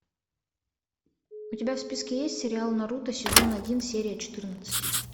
у тебя в списке есть сериал наруто сезон один серия четырнадцать